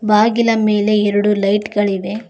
ಬಾಗಿಲ ಮೇಲೆ ಎರಡು ಲೈಟ್ ಗಳಿವೆ.